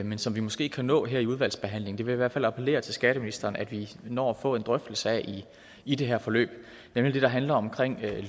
men som vi måske kan nå her i udvalgsbehandlingen jeg vil i hvert fald appellere til skatteministeren om at vi når at få en drøftelse af i det her forløb nemlig det der handler om